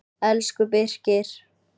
Elsku Birkir.